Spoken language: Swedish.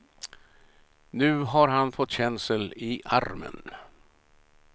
Nu har han fått känsel i armen.